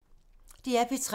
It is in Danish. DR P3